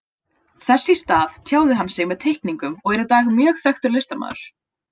Þess í stað tjáði hann sig með teikningum og er í dag mjög þekktur listamaður.